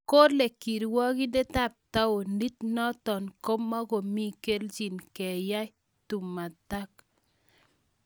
Kole kirwakindet ab taonit notok komokomi kelchin keyai tumatak